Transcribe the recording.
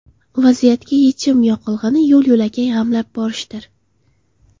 Vaziyatga yechim yoqilg‘ini yo‘l-yo‘lakay g‘amlab borishdir.